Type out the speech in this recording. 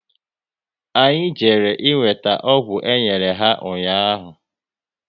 Anyị jere e weta ọgwụ enyere ya ụnyaahụ